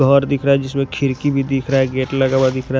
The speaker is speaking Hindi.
घर दिख रहा है जिसमें खिड़की भी दिख रहा है गेट लगा हुआ दिख रहा है।